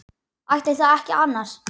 Ætli það ekki annars.